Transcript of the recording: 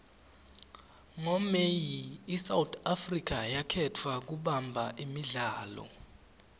ngo may isouth africa yakhetfwa kubamba imidlalo